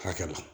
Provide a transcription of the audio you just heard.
Hakɛ la